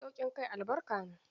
Sauƙin kai albarka ne.